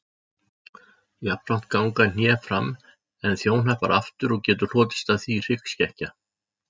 Jafnframt ganga hné fram en þjóhnappar aftur og getur hlotist af því hryggskekkja.